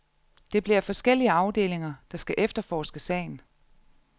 Det bliver forskellige afdelinger, der skal efterforske sagen.